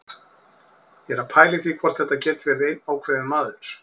Ég er að pæla í því hvort þetta geti verið einn ákveðinn maður.